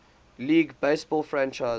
league baseball franchise